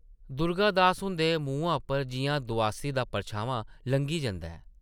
दुर्गा दास हुंदे मुहां उप्परा जिʼयां दोआसी दा परछामां लंघी जंदा ऐ ।